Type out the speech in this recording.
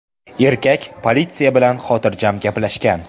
Erkak politsiya bilan xotirjam gaplashgan.